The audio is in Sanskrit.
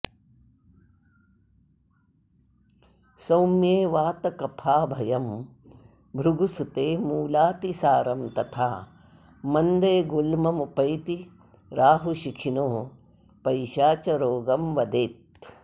सौम्ये वातकफाभयं भृगुसुते मूलातिसारं तथा मन्दे गुल्ममुपैति राहुशिखिनोः पैशाचरोगं वदेत्